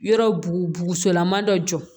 Yɔrɔ bu bosolama dɔ jɔ